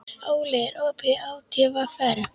Óli, er opið í ÁTVR?